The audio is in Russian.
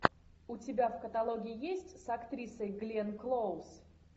у тебя в каталоге есть с актрисой гленн клоуз